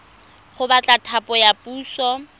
go batla thapo ya puso